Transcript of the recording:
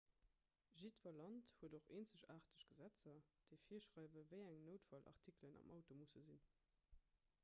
jiddwer land huet och eenzegaarteg gesetzer déi virschreiwen wéi eng noutfallartikelen am auto musse sinn